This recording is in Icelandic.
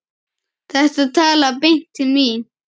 Þetta talaði beint til mín.